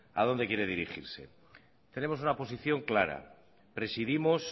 a dónde quiere dirigirse tenemos una posición clara presidimos